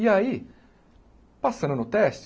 E aí, passando no teste...